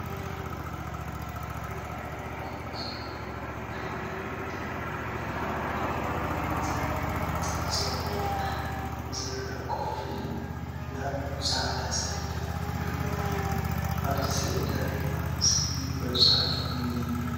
ክልተ ተምሃሮ ዝመስሉእቲ ሓደ ወዲ እቲ ካልአይ ድማ ዘይፍለጥ ፀጉሩ ጥራሕ ዘረአ ኮፍ ኢሎም ናብ ፃዕዳ ሰሌዳ ይሪኡ አለዉ፡፡ አብቲ ሰሌዳ ድማ ዘይንበብ ፅሑፍ እኒሀ፡፡